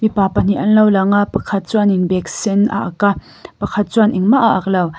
pa pahnih an lo lang a pakhat chuanin bag sen a ak a pakhat chuan engmah a ak lo.